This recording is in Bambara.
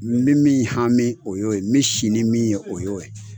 N bɛ min hami o y'o ye n bi si ni min ye o y'o ye